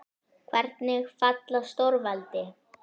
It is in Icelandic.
Hvernig falla stórveldi?